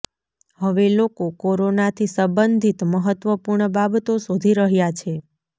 હવે લોકો કોરોનાથી સંબંધિત મહત્વપૂર્ણ બાબતો શોધી રહ્યા છે